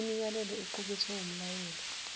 imiyalelo equkethwe wumyalelo